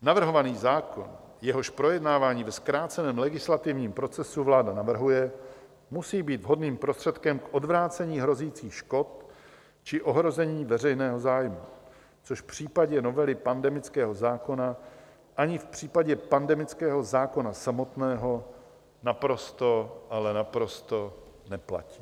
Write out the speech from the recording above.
Navrhovaný zákon, jehož projednávání ve zkráceném legislativním procesu vláda navrhuje, musí být vhodným prostředkem k odvrácení hrozících škod či ohrožení veřejného zájmu, což v případě novely pandemického zákona ani v případě pandemického zákona samotného naprosto, ale naprosto neplatí.